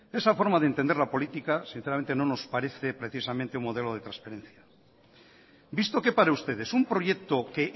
de esa forma de entender la política sinceramente no nos parece precisamente un modelo de transparencia visto que para ustedes un proyecto que